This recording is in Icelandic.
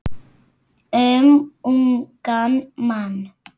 Um ungan mann.